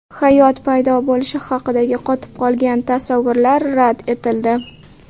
Hayot paydo bo‘lishi haqidagi qotib qolgan tasavvurlar rad etildi.